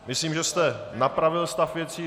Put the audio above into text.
Myslím, že jste napravil stav věci.